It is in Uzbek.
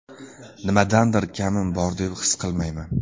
Nimadandir kamim bor deb his qilmayman.